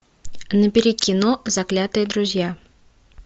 набери кино заклятые друзья